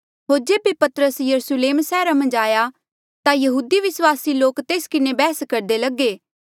होर जेबे पतरस यरुस्लेम सैहरा मन्झ आया ता यहूदी विस्वासी लोक तेस किन्हें बैहस करदे लगे